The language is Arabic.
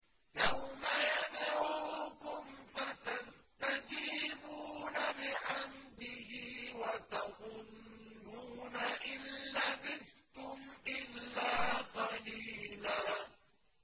يَوْمَ يَدْعُوكُمْ فَتَسْتَجِيبُونَ بِحَمْدِهِ وَتَظُنُّونَ إِن لَّبِثْتُمْ إِلَّا قَلِيلًا